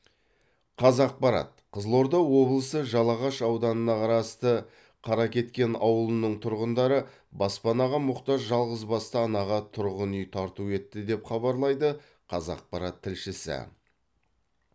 қазақпарат қызылорда облысы жалағаш ауданына қарасты қаракеткен ауылының тұрғындары баспанаға мұқтаж жалғызбасты анаға тұрғын үй тарту етті деп хабарлайды қазақпарат тілшісі